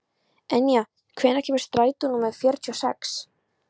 Enja, hvenær kemur strætó númer fjörutíu og sex?